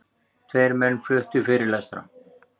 Tveir menn fluttu fyrirlestra.